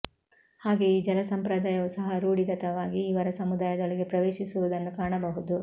ಹಾಗೆ ಈ ಜಲಸಂಪ್ರದಾಯವು ಸಹ ರೂಢಿತಗವಾಗಿ ಇವರ ಸಮುದಾಯದೊಳಗೆ ಪ್ರವೇಶಿಸಿರುವುದನ್ನು ಕಾಣಬಹುದು